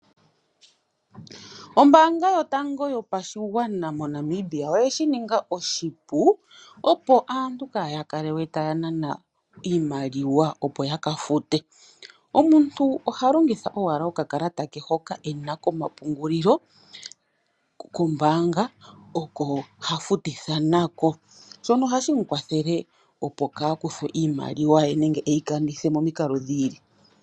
Ombaanga yotango yopashigwana moNamibia, oye shi ninga oshipu, opo aantu kaya kalelwe taya nana iimaliwa opo ya ka fute. Omuntu oha longitha owala okakalata ke hoka e na komapungulilo kombaanga ,oko ha futitha na ko . Shono ohashi mu wathele opo kaa kuthwe iimaliwa ye nenge e yi kanithe momikalo dhiili.